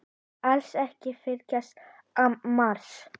Alls ekki fyrsta mars!